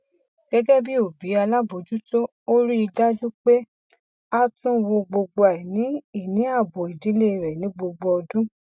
gẹgẹ bí òbí alábojútó ó rí dájú pé a tún wo gbogbo aini ìníàbò ìdílé rẹ ní gbogbo ọdún